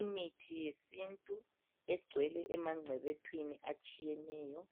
Imithi yesintu egcwele emangcebethwini atshiyeneyo